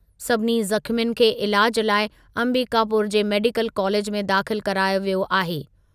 सभिनी ज़ख़्मियुनि खे इलाजु लाइ अंबिकापुर जे मेडिकल कालेज में दाख़िल करायो वियो आहे।